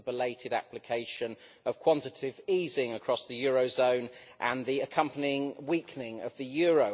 it is the belated application of quantitative easing across the euro area and the accompanying weakening of the euro.